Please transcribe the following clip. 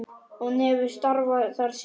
Hann hefur starfað þar síðan.